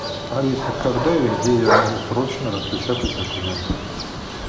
алиса когда и где я могу срочно распечатать документы